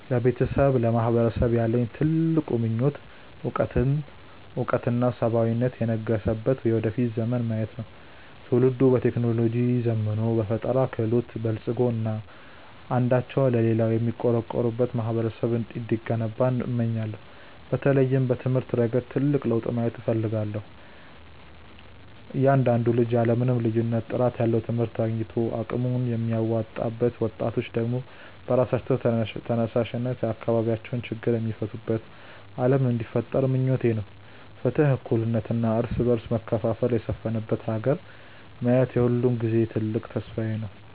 ለቤተሰቤና ለማህበረሰቤ ያለኝ ትልቁ ምኞት እውቀትና ሰብአዊነት የነገሰበት የወደፊት ዘመንን ማየት ነው። ትውልዱ በቴክኖሎጂ ዘምኖ፣ በፈጠራ ክህሎት በልፅጎ እና አንዳቸው ለሌላው የሚቆረቆሩበት ማህበረሰብ እንዲገነባ እመኛለሁ። በተለይም በትምህርት ረገድ ትልቅ ለውጥ ማየት እፈልጋለሁ፤ እያንዳንዱ ልጅ ያለ ምንም ልዩነት ጥራት ያለው ትምህርት አግኝቶ አቅሙን የሚያወጣበት፣ ወጣቶች ደግሞ በራሳቸው ተነሳሽነት የአካባቢያቸውን ችግር የሚፈቱበት ዓለም እንዲፈጠር ምኞቴ ነው። ፍትህ፣ እኩልነት እና የእርስ በርስ መከባበር የሰፈነባት ሀገር ማየት የሁልጊዜም ትልቅ ተስፋዬ ነው።